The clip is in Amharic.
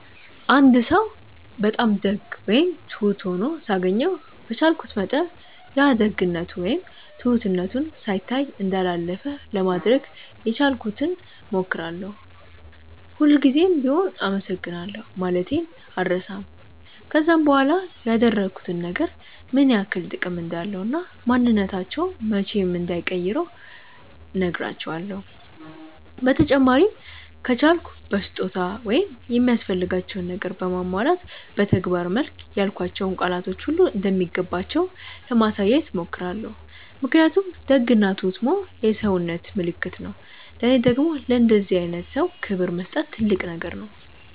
አንድ ሰው በጣም ደግ ወይም ትሁት ሆኖ ሳገኘው በቻልኩት መጠን ያ ደግነቱ ወይም ትሁትነቱ ሳይታይ እንዳላለፈ ለማድረግ የቻልኩትን ሞክራለው፤ ሁል ጉዘም ቢሆም አመሰግናለሁ ማለቴን አልረሳም፤ ከዛም በኋላ ያደረጉት ነገር ምን ያክል ጥቅም እንዳለው እና ማንንነታቸውን መቼም እንዳይቀይሩ ነህራቸውለው፤ በተጨማሪም ከቻልኩ በስጦታ ወይም የሚያስፈልጋቸውን ነገር በማሟላት በተግባር መልክ ያልኳቸው ቃላቶች ሁሉ እንደሚገባቸው ለማሳየት ሞክራለው ምክንያቱም ደግ እና ትሁት መሆን የሰውነት ምልክት ነው ለኔ ደግም ለእንደዚህ አይነት ሰው ክብር መስጠት ትልቅ ነገር ነው።